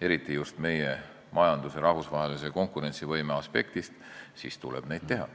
eriti just meie majanduse rahvusvahelise konkurentsivõime aspektist, siis tuleb neid teha.